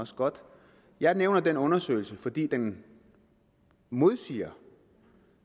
også godt jeg nævner den undersøgelse fordi den modsiger